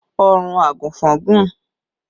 Ọrùn àgùnfọn gùn